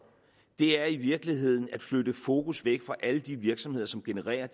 er i virkeligheden at flytte fokus væk fra alle de virksomheder som genererer